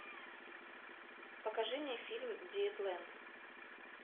покажи мне фильм диетлэнд